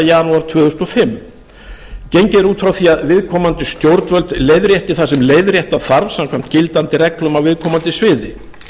janúar tvö þúsund og fimm gengið er út frá því að viðkomandi stjórnvöld leiðrétti það sem leiðrétta þarf samkvæmt gildandi reglum á viðkomandi sviði